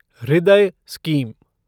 हृदय स्कीम